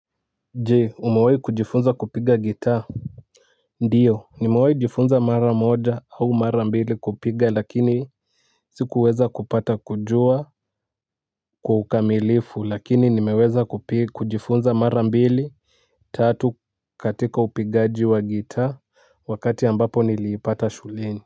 Je umewahi kujifunza kupiga gitaa ndio nimewahi jifunza mara moja au mara mbili kupiga lakini sikuweza kupata kujua kwa ukamilifu lakini nimeweza kujifunza mara mbili tatu katika upigaji wa gitaa wakati ambapo niliipata shuleni.